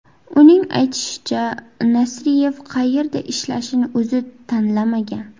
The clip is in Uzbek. Uning aytishicha, Nasriyev qayerda ishlashini o‘zi tanlamagan.